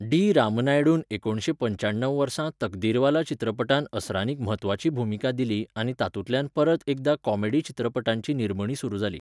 D. रामनायडून एकुणशे पंच्याण्णव वर्सा तकदीरवाला चित्रपटांत असरानीक म्हत्त्वाची भूमिका दिली आनी तातूंतल्यान परत एकदा कॉमेडी चित्रपटांची निर्मणी सुरू जाली.